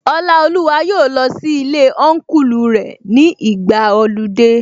Ọlaoluwa yóò lọ sí ilé Ọnkulu rẹ̀ ní ìgbàa ọludé